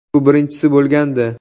Bu birinchisi bo‘lgandi.